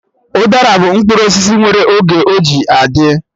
Udara bụ mkpụrụ osisi nwere oge ọ ji adị